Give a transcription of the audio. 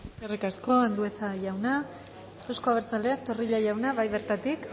eskerrik asko andueza jauna eusko abertzaleak zorrilla jauna bai bertatik